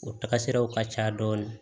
O taga siraw ka ca dɔɔni